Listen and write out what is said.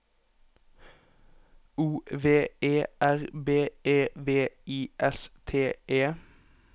O V E R B E V I S T E